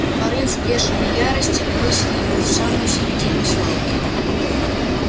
порыв бешеной ярости бросил его в самую середину свалки